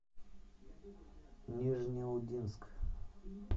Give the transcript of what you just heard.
нижнеудинск